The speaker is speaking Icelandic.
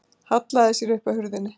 Hallaði sér upp að hurðinni.